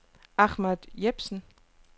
Ahmad Jepsen